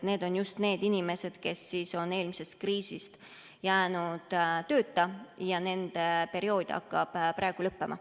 Need on just need inimesed, kes jäid eelmises kriisis tööta ja kellel see periood hakkab praegu lõppema.